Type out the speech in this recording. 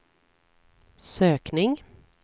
sökning